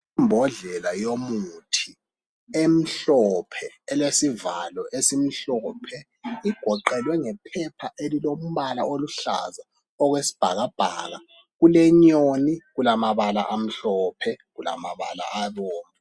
Imbodlela yomuthi emhlophe elesivalo esimhlophe. Igoqelwe ngephepha elilombala oluhlaza okwesibhakabhaka. Kulenyoni ,kulamabala amhlophe kulamabala abomvu.